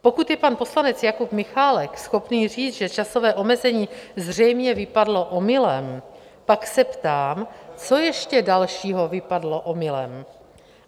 Pokud je pan poslanec Jakub Michálek schopný říct, že časové omezení zřejmě vypadlo omylem, pak se ptám: Co ještě dalšího vypadlo omylem?